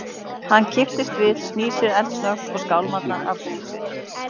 Hann kippist við, snýr sér eldsnöggt og skálmar að búð sinni.